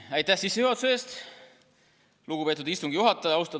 Aitäh sissejuhatuse eest, lugupeetud istungi juhataja!